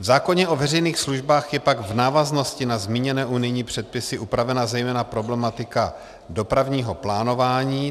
V zákoně o veřejných službách je pak v návaznosti na zmíněné unijní předpisy upravena zejména problematika dopravního plánování.